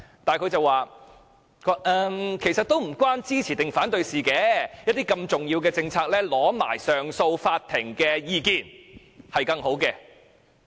但是，他說其實與支持或反對無關，如此重要的政策，先尋求上訴法庭的意見會更好。